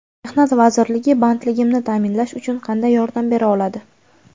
Mehnat vazirligi bandligimni ta’minlash uchun qanday yordam bera oladi?.